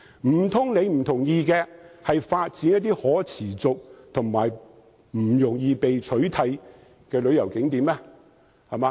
難道他不同意應該發展一些可持續及不易被取代的旅遊景點嗎？